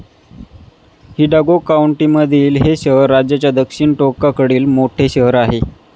हि डागो कॉउंटीमधील हे शहर राज्याच्या दक्षिण टोकाकडील मोठे शहर आहे.